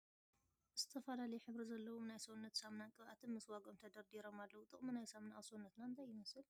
ዝተፈላለዩ ሕብሪ ዘለዎም ናይ ሰውነት ሳሙናን ቅብኣትን ምስ ዋግኦም ተደርዲሮም ኣለዉ ። ጥቅሚ ናይ ሳሙና ኣብ ሰውነትና እንታይ ይመስል ?